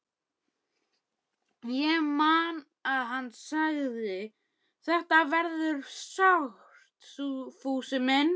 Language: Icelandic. Ég man að hann sagði: Þetta verður sárt, Fúsi minn.